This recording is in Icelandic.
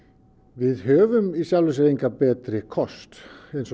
við höfum í sjálfum sér engan betri kost